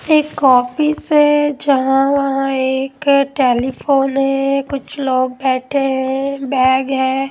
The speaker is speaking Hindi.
एक ऑफिस है जहां वहां एक टेलीफोन है कुछ लोग बैठे हैं बैग है।